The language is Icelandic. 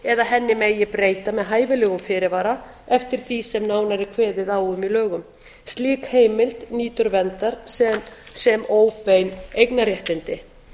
eða henni megi breyta með hæfilegum fyrirvara eftir því sem nánar er kveðið á um í lögum slík heimild nýtur verndar sem óbein eignarréttindi